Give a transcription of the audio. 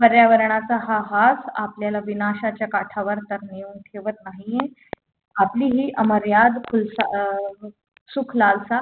पर्यावरणाचा हा हास आपल्याला विनाशाच्या काठावर तर नेऊन ठेवत नाहीये आपली अमर्याद खुलसा अं सुखलालसा